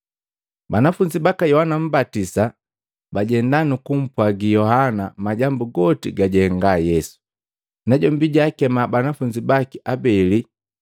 Banafunzi baka Yohana Mmbatisa bajenda nukumpwagi Yohana majambu goti gajahenga Yesu. Najombi jaakema banafunzi baki abeli,